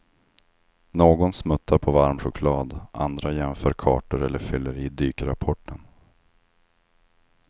Någon smuttar på varm choklad, andra jämför kartor eller fyller i dykrapporten.